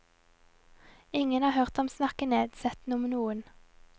Ingen har hørt ham snakke nedsettende om noen.